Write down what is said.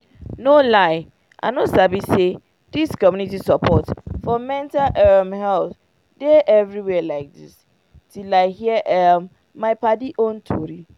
no lie i no sabi say dis community support for mental um health dey everywhere like dis till i hear um my padi own tori